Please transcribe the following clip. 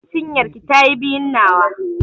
Cinyar ki ta yi biyun nawa.